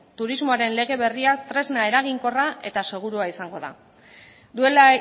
turismoaren lege berria tresna eraginkorra eta segurua izango da duela